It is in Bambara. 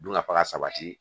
Dunkafa ka sabati